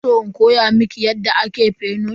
Kina san in koya miki yadda ake fenut?